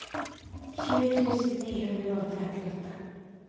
tjue tusen ni hundre og trettiåtte